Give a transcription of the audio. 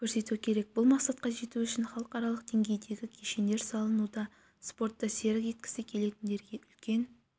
көрсету керек бұл мақсатқа жету үшін халықаралық деңгейдегі кешендер салынуда спортты серік еткісі келетіндерге үлкен